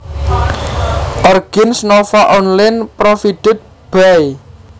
Origins Nova Online Provided by